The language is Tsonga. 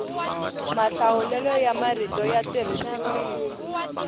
mahlawulelo ya marito ya tirhisiwile